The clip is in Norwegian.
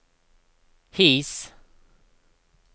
His